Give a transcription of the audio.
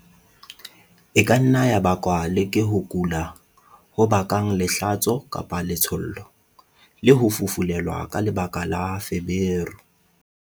E ka nna ya bakwa le ke ho kula ho bakang lehlatso-letshollo, le ho fufulelwa ka lebaka la feberu.